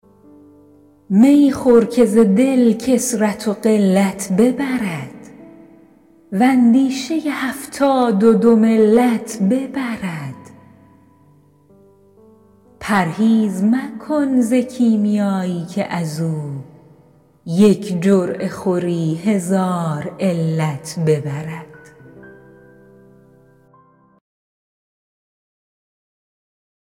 می خور که ز دل کثرت و قلت ببرد و اندیشه هفتاد و دو ملت ببرد پرهیز مکن ز کیمیایی که از او یک جرعه خوری هزار علت ببرد